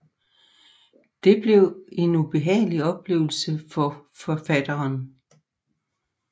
Det blev en ubehagelig oplevelse for forfatteren